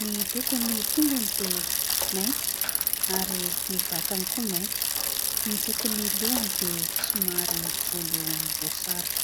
Ny lokon'ny tongony dia mainty ary ny vatany koa mainty. Ny lokon'ny lohany dia somary volomboasary.